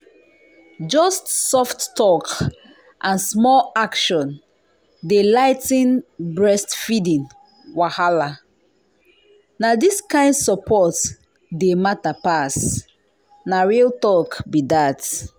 just soft talk and small action dey ligh ten breastfeeding wahala. na this kind support dey matter pass… na real talk be dat.